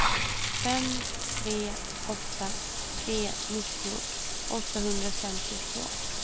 fem tre åtta tre nittio åttahundrafemtiotvå